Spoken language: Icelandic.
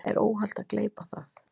Er óhollt að gleypa það?